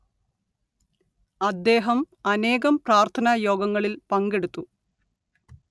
അദ്ദേഹം അനേകം പ്രാർത്ഥനാ യോഗങ്ങളിൽ പങ്കെടുത്തു